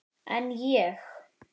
En ég?